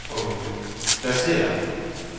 pladsér